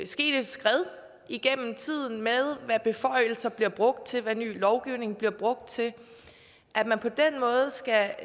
sket et skred igennem tiden med hensyn hvad beføjelser bliver brugt til hvad ny lovgivning bliver brugt til at man på den måde skal